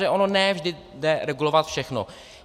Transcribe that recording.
Takže ono ne vždy jde regulovat všechno.